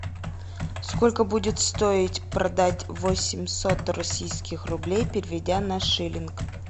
сколько будет стоить продать восемьсот российских рублей переведя на шиллинг